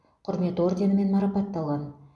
құрмет орденімен марапатталған